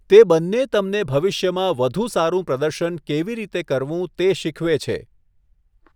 તે બંને તમને ભવિષ્યમાં વધુ સારું પ્રદર્શન કેવી રીતે કરવું તે શીખવે છે.